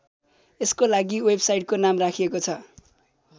यसको लागि वेब साइटको नाम राखिएको छ।